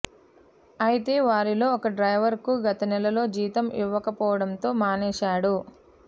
అయితే వారిలో ఓ డ్రైవర్కు గత నెలలో జీతం ఇవ్వకపోవడంతో మానేశాడు